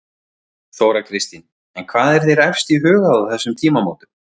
Þóra Kristín: En hvað er þér efst í huga á þessum tímamótum?